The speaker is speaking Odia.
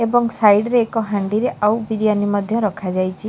ଏବଂ ସାଇଡ୍ ରେ ଏକ ହାଣ୍ଡିରେ ଆଉ ବିରିୟାନି ମଧ୍ୟ ରଖାଯାଇଛି ।